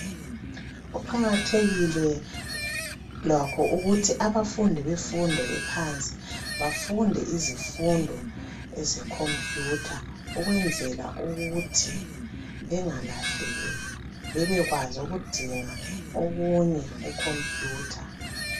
Kuqakathekile lakho ukuthi abafundi bemfundo ephansi bafunde izifundo ezekhompuyutha ukwenzela ukuthi bengalahleki bebekwazi ukudinga okunye kukhompuyutha.